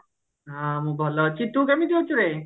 ହ ମୁଁ ଭଲ ଅଛି ତୁ କେମତି ଅଛୁ ରେ